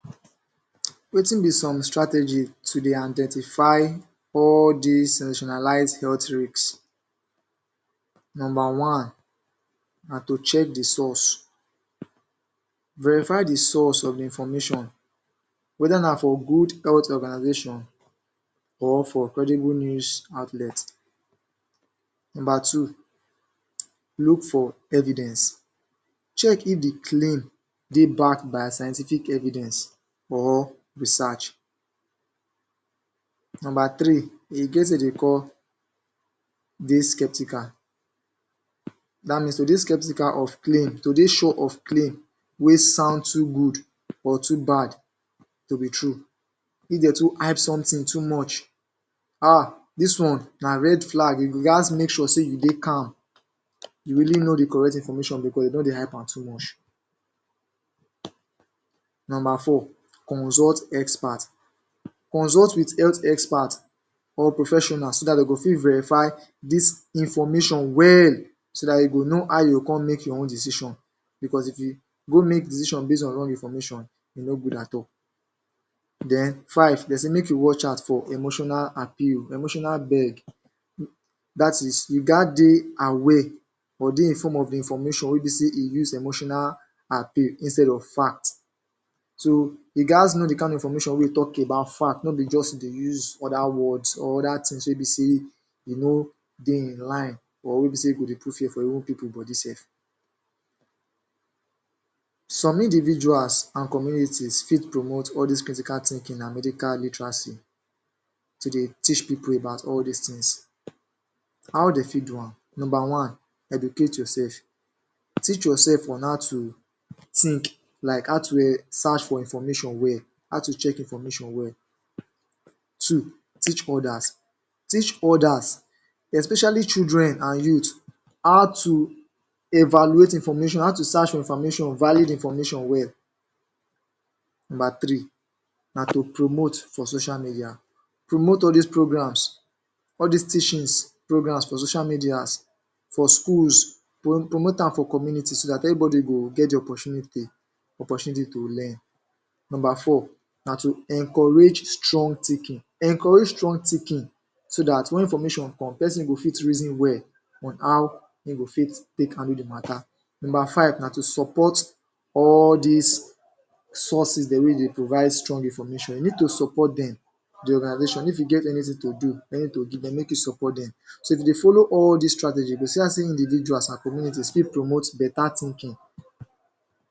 Wetin be some strategy to dey identify all dis sensationalized health risk Nomba one na to check the source Verify the source of the information whether na for good health organization or from credible news outlet Nomba two Look for evidence. Check if the claim dey backed by scientific evidence or research Nomba three: E ge wetin de dey call ""Dey skeptical"". Dat means to dey skeptical of claim, to dey sure of claim wey sound too good or too bad to be true. If dey too add something too much um dis one na red flag. You go gaz make sure sey you dey calm. You really know the correct information becos dey don dey hype am too much Nomba four: Consult Expert. Consult with health expert or professionals so dat de go fit verify dis information well so dat you go know how you go con make your own decision. Becos if you go make decision base on wrong information, e no good at all. Then five, de say make you watch out for emotional appeal—emotional beg. That is, you gaz dey aware or dey inform of the information wey be sey e use emotional appeal instead of fact. So, you gaz know the kind of information wey talk about fact, no be juz dey use other words or other things wey be sey e no dey in line or wey be sey go dey put fear for even pipu body sef Some individuals an communities fit promote all dis critical thinking an medical literacy to dey teach pipu about all dis tins. How de fit do am? Nomba one: Educate yourself. Teach yoursef on how to think, like how to seach for information well, how to check information well. Two: Teach others. Teach others especially children an youth how to evaluate information—how to search information (valid information) well Nomba three na to promote for social media. Promote all dis programs—all dis teachings, programs— for social medias, for schools, pro promote am for communities so dat everybody go get the opportunity opportunity to learn Nomba four na to encourage strong thinking. Encourage strong thinking so dat wen information come, peson go fit reason well on how ein go fit take handle the matter. Nomba five na to support all dis sources dem wey dey provide strong information. You need to support dem the organization if you get anything to do, anything to give dem make you support dem. So, if you dey follow all dis strategy, you go see how sey individuals an communities fit promote beta thinking."